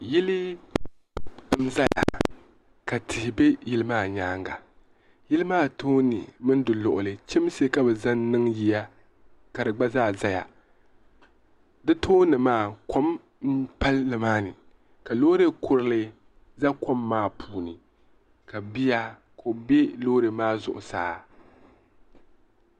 yili n-zaya ka tihi be yili maa nyaaga yili maa tooni mini di luɣili chimsi ka bɛ zaŋ niŋ yiya ka di gba zaa ʒiya di tooni maa kom m-pali nima ni ka loori kurili za kom maa puuni ka bia ka o be loori maa zuɣusaa